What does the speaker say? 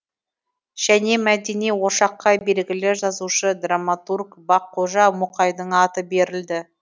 және мәдени ошаққа белгілі жазушы драматург баққожа мұқайдың аты берілді